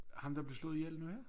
Ham der blev slået ihjel nu her?